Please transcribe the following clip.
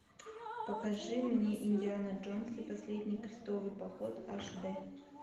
покажи мне индиана джонс и последний крестовый поход аш дэ